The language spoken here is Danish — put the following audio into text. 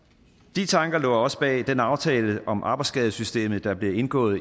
de tanker lå også bag den aftale om arbejdsskadesystemet der blev indgået